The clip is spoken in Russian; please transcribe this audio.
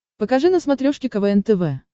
покажи на смотрешке квн тв